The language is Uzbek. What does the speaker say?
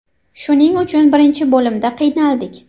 Shuning uchun birinchi bo‘limda qiynaldik.